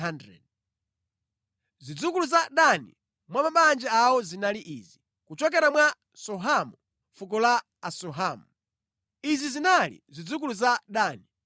Zidzukulu za Dani mwa mabanja awo zinali izi: kuchokera mwa Suhamu fuko la Asuhamu. Izi zinali zidzukulu za Dani.